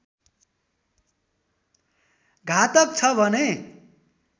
घातक छ भने